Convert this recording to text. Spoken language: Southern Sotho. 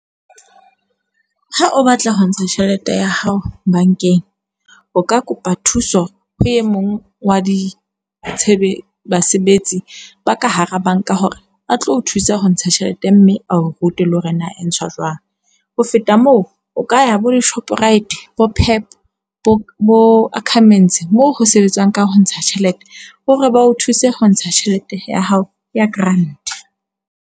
Ha o batla ho ntsha tjhelete ya hao bankeng, o ka kopa thuso ho e mong wa ditshebetso basebetsi ba ka hara banka hore a tlo o thusa ho ntsha tjhelete mme ao o rute le hore na e ntshwa jwang. Ho feta moo, o ka ya bo di-Shoprite, bo-Pep, bo-Ackermans, moo ho sebetswang ka ho ntsha tjhelete hore ba o thuse ho ntsha tjhelete ya hao ya grant.